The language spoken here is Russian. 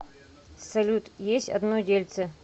салют есть одно дельце